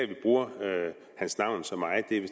vi bruger hans navn så meget det er